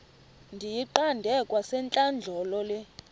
ndiyiqande kwasentlandlolo le